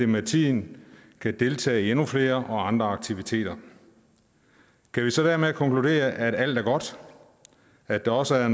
med tiden kan deltage i endnu flere og andre aktiviteter kan vi så dermed konkludere at alt er godt at der også er